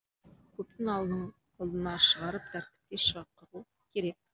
көптің алдына шығарып тәртіпке шақыру керек